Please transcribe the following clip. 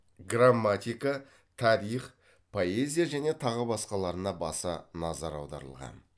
грамматика тарих поэзия және тағы басқаларына баса назар аударылған